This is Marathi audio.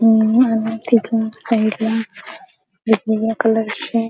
तिच्या साईडला वेगवेगळ्या कलरचे --